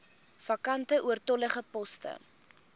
vakante oortollige poste